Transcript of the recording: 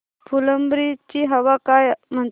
फुलंब्री ची हवा काय म्हणते